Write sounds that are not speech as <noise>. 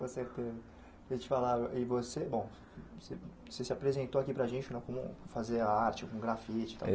<unintelligible> te falava e você bom você você se apresentou aqui para a gente né como fazer a arte com grafite tal.